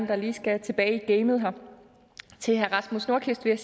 der lige skal tilbage i gamet til herre rasmus nordqvist vil